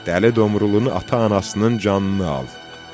Dəli Domrulun ata-anasının canını al.